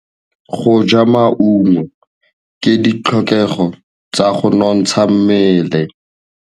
Go ja maungo ke ditlhokegô tsa go nontsha mmele.